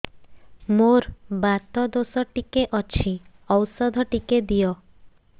ମୋର୍ ବାତ ଦୋଷ ଟିକେ ଅଛି ଔଷଧ ଟିକେ ଦିଅ